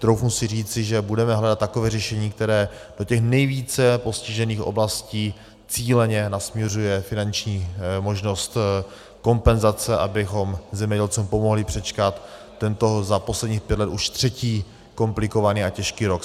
Troufnu si říci, že budeme hledat takové řešení, které do těch nejvíce postižených oblastí cíleně nasměruje finanční možnost kompenzace, abychom zemědělcům pomohli přečkat tento za posledních pět let už třetí komplikovaný a těžký rok.